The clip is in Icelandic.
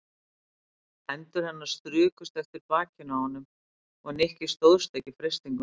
Hendur hennar strukust eftir bakinu á honum og Nikki stóðst ekki freistinguna.